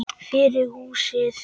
Fyrir húsið.